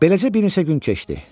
Beləcə bir neçə gün keçdi.